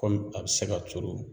Kɔmi a bɛ se ka turu